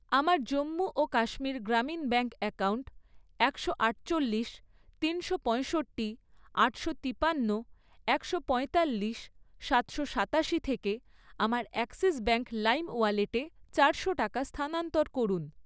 আমার জম্মু ও Kashmir Grameen bank account একশো আটচল্লিশ, তিনশো পঁয়ষট্টি, আটশো তিপান্ন, একশো পঁয়তাল্লিশ, সাতশো সাতাশি থেকে আমার অ্যাক্সিস ব্যাঙ্ক লাইম ওয়ালেটে চারশো টাকা স্থানান্তর করুন